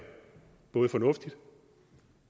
fornuftigt